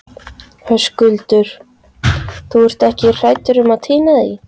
Höskuldur: Þú ert ekki hrædd um að týna því?